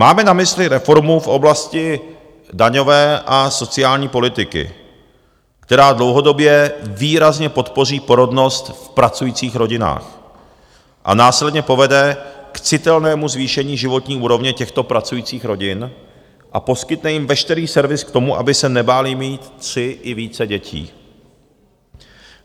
Máme na mysli reformu v oblasti daňové a sociální politiky, která dlouhodobě výrazně podpoří porodnost v pracujících rodinách a následně povede k citelnému zvýšení životní úrovně těchto pracujících rodin a poskytne jim veškerý servis k tomu, aby se nebáli mít tři i více dětí.